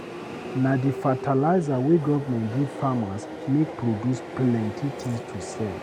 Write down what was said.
Na di fertilizer wey government give farmers make produce plenty tins to sell.